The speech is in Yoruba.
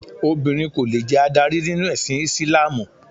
Obìnrin kò lè jẹ adarí nínú ẹ̀sìn Ìsìlámù.